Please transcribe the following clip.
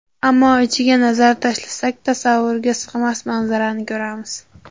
Ammo ichiga nazar tashlasak, tasavvurga sig‘mas manzarani ko‘ramiz.